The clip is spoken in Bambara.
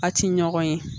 A ti ɲɔgɔn ye